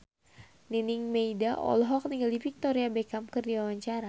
Nining Meida olohok ningali Victoria Beckham keur diwawancara